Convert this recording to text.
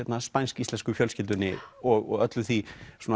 spænsk íslensku fjölskyldunni og öllu því